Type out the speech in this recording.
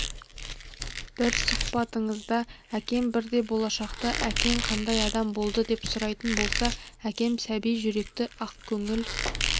бір сұхбатыңызда әкем бірде болашақта әкең қандай адам болды деп сұрайтын болса әкем сәби жүректі ақкөңіл